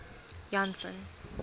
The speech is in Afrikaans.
janson